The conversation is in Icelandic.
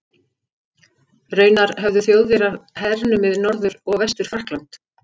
Raunar höfðu Þjóðverjar hernumið Norður- og Vestur-Frakkland.